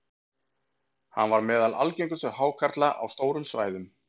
hann var meðal algengustu hákarla á stórum svæðum